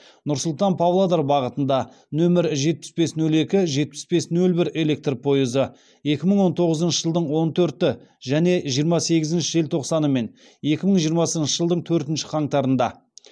нұр сұлтан павлодар бағытында нөмір жетпіс бес нөл екі жетпіс бес нөл бір электр пойызы екі мың он тоғызыншы жылдың он төрті және жиырма сегізінші желтоқсаны мен екі мың жиырмасыншы жылдың төртінші қаңтарында